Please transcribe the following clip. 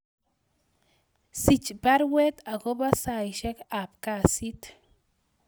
Sich baruet agobo saisyek ab kasit